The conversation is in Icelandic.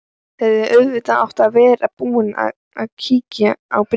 Hefði auðvitað átt að vera búin að kíkja á bréfið.